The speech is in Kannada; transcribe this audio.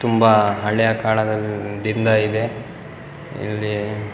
ತುಂಬ ಹಳೆಯ ಕಾಳದಿಂದ ಇದೆ ಇಲ್ಲಿ .